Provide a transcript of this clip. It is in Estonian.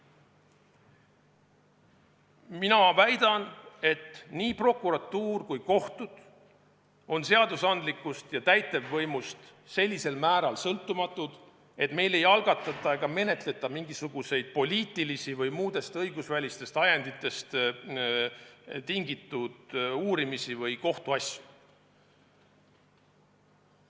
Mina väidan, et nii prokuratuur kui ka kohtud on seadusandlikust ja täitevvõimust sellisel määral sõltumatud, et meil ei algatata ega menetleta mingisuguseid poliitilisi või muudest õigusvälistest ajenditest tingitud uurimisi või kohtuasju.